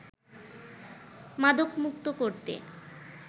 মাদকমুক্ত করতে